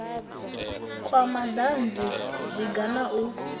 kwa madanzi zwiga zwa u